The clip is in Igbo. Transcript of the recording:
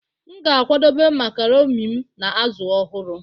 M ga-akwadebe marcaroni m na azụ ọhụrụ